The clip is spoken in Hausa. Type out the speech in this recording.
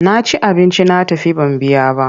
Na ci abinci na tafi ban biya ba.